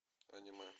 аниме